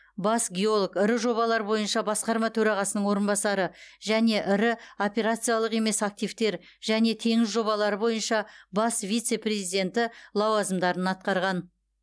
бас геолог ірі жобалар бойынша басқарма төрағасының орынбасары және ірі операциялық емес активтер және теңіз жобалары бойынша бас вице президенті лауазымдарын атқарған